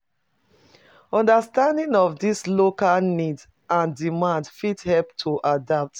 Understanding of di local needs and demand fit help to adapt